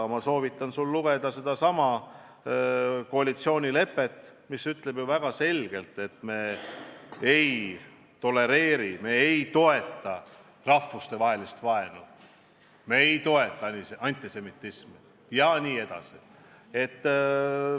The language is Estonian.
Ma siiski soovitan sul lugeda meie koalitsioonilepet, mis ütleb väga selgelt, et me ei tolereeri, me ei toeta rahvastevahelist vaenu, me ei toeta antisemitismi jne.